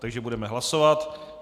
Takže budeme hlasovat.